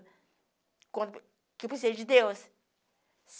Quando eu precisei de Deus?